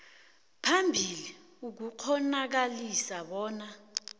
phambili ukukghonakalisa bona